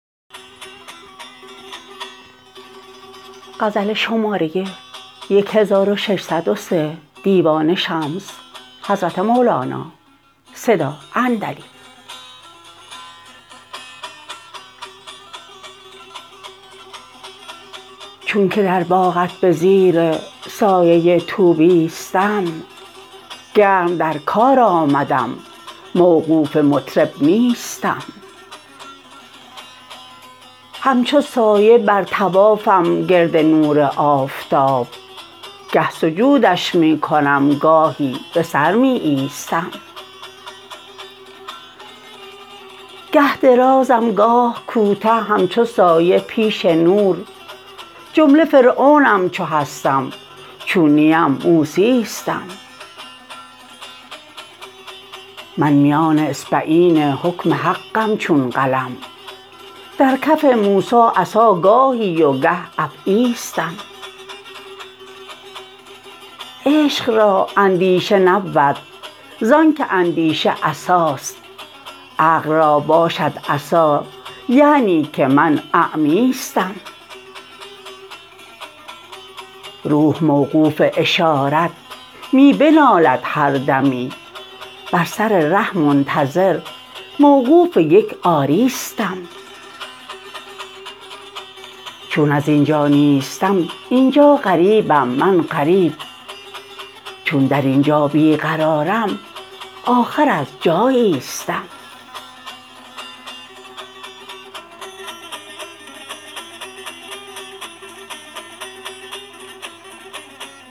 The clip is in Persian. چونک در باغت به زیر سایه طوبیستم گرم در کار آمدم موقوف مطرب نیستم همچو سایه بر طوافم گرد نور آفتاب گه سجودش می کنم گاهی به سر می ایستم گه درازم گاه کوته همچو سایه پیش نور جمله فرعونم چو هستم چون نیم موسیستم من میان اصبعین حکم حقم چون قلم در کف موسی عصا گاهی و گه افعیستم عشق را اندیشه نبود زانک اندیشه عصاست عقل را باشد عصا یعنی که من اعمیستم روح موقوف اشارت می بنالد هر دمی بر سر ره منتظر موقوف یک آریستم چون از این جا نیستم این جا غریبم من غریب چون در این جا بی قرارم آخر از جاییستم